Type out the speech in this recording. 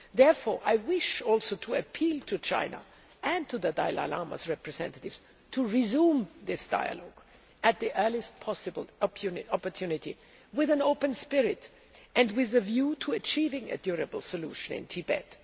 Therefore I wish to appeal to China and to the Dalai Lama's representative to resume this dialogue at the earliest possible opportunity with an open spirit and a view to achieving a durable solution in Tibet.